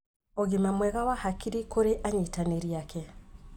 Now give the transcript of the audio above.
ũgima mwega wa hakiri kũrĩ anyitanĩri ake.